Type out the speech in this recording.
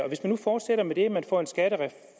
hvis de nu fortsætter med det